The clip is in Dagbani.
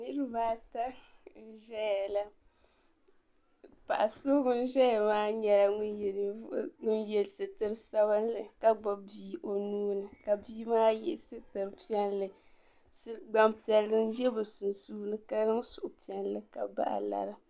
Niriba ata n-zaya la. Paɣa so ŋun zaya maa nyɛla ŋun ye sitir' sabilinli ka gbibi bia o nuu ni ka bia maa ye sitir' piɛlli. Gbampiɛlli n-za bɛ sunsuuni ka niŋ suhupiɛlli ka bahi lari.